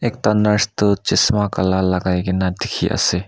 ekta nurse tu chasma kala lagai ke na dikhi ase.